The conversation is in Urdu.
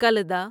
کلدا